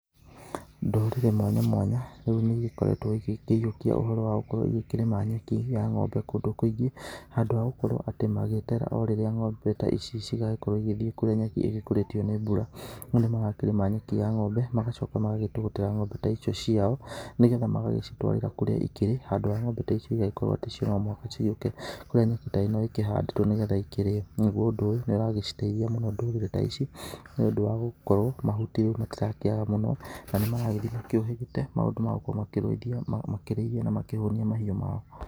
Ndũrĩrĩ mwanya mwanya rĩu nĩ igĩkoretwo igĩkĩiyũkia ũhoro wa gũkorũo igĩkĩrĩma nyaki ya ng'ombe kũndũ kũingĩ handũ ha gũkorũo atĩ magĩeterera o rĩrĩa ng'ombe ta ici cigagĩkorũo igĩthiĩ kũrĩa nyeki ĩrĩa ĩkũrĩtio nĩ mbura no nĩ magakĩrĩma nyeki ya ng'ombe magacoka magagĩtũgũtĩra ng'ombe ta icio ciao nĩ getha magagĩcitwarĩra kũrĩa ikĩrĩ handũ ha ng'ombe ta ici igagĩkorũo atĩ cirauma handũ ciũke kũrĩa nyeki ta ĩno ĩkĩhandĩtwo nĩ getha ĩkĩrĩo. Naguo ũndũ ũyũ nĩ ũragĩciteithia mũno ndũrĩrĩ ta ici nĩ ũndũ wa gũkorũo mahuti matĩrakĩaga mũno na nĩ maragĩthiĩ makĩũhĩgĩte maũndũ ma gũkũ makĩrĩithia na makĩhũnia maũndũ mao.